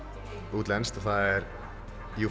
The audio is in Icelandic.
útlenskt og það er Euphoria